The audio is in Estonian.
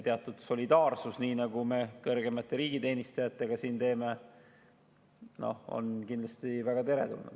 Teatud solidaarsus, nii nagu me kõrgemate riigiteenijate puhul siin teeme, on kindlasti väga teretulnud.